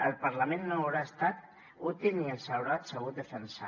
el parlament no haurà estat útil ni els haurà sabut defensar